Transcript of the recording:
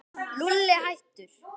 Lúlli, hættu.